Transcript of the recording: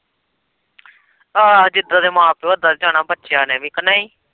ਆਹੋ ਜਿੱਦਾ ਦੇ ਮਾਂ-ਪਿਓ ਉੱਦਾ ਦੇ ਜਾਣਾ ਬੱਚਿਆਂ ਨੇ ਵੀ ਕੀ ਨਹੀਂ।